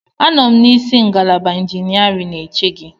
Anọ m n'isi ngalaba injiniarin eche gị.